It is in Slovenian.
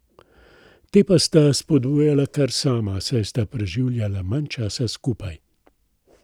Te pa sta spodbujala kar sama, saj sta preživljala manj časa skupaj.